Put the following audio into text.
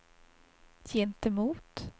gentemot